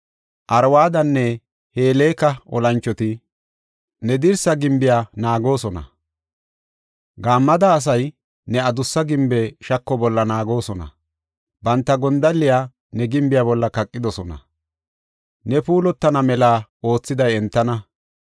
Arwadanne Heleka olanchoti, ne dirsa gimbiya naagoosona. Gammada asay ne adussa gimbi shako bolla naagoosona; banta gondalliya ne gimbiya bolla kaqidosona; ne puulatana mela oothiday entana.